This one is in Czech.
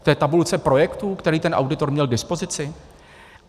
V té tabulce projektů, které ten auditor měl k dispozici?